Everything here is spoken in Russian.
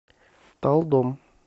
талдом